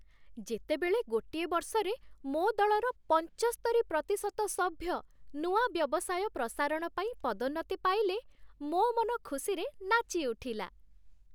ଯେତେବେଳେ ଗୋଟିଏ ବର୍ଷରେ ମୋ ଦଳର ପଞ୍ଚସ୍ତରୀ ପ୍ରତିଶତ ସଭ୍ୟ ନୂଆ ବ୍ୟବସାୟ ପ୍ରସାରଣ ପାଇଁ ପଦୋନ୍ନତି ପାଇଲେ, ମୋ ମନ ଖୁସିରେ ନାଚିଉଠିଲା।